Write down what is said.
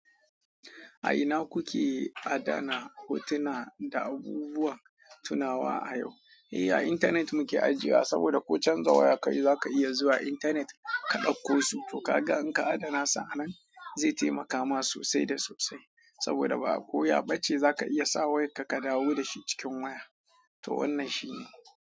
A ina kuke adana hotuna da abubuwan tunawa a yau? Ehh abinyernet muke ajewa saboda ko chanza waya kaui zaka iya zuwa internet ka dauko su to ka ga in ka adana su a nan zai taimaka ma sosai da sosai saboda ba koya bace za ka iya sa wai ka ka dawo da shi cikin waya. To wannan shine.